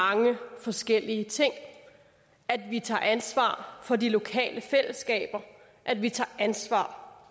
mange forskellige ting at vi tager ansvar for de lokale fællesskaber at vi tager ansvar